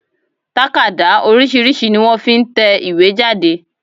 Tákàdá oríṣìíríṣìí ni wọ́n fi n tẹ ìwé jáde